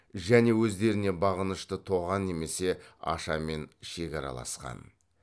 және өздеріне бағынышты тоған немесе ашамен шекараласқан